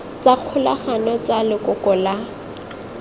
tsa kgolagano tsa lekoko la